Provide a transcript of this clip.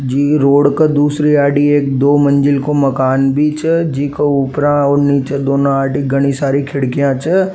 जी road के दूसरी साइडे एक दो मंजिल का मकान भी छे जी के उपरा और निच्चे घणी सारी खिड़किया छे।